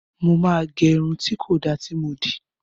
Mo máa gé irun tí kò dáa tí mo dì